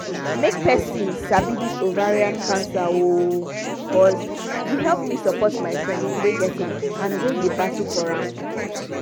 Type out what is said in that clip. make persin sabi this ovarian cancer oooo cos e help me support my friend wey get am and wey dey battle from am